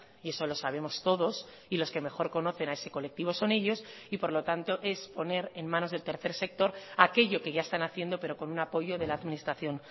y eso lo sabemos todos y los que mejor conocen a ese colectivo son ellos y por lo tanto es poner en manos del tercer sector aquello que ya están haciendo pero con un apoyo de la administración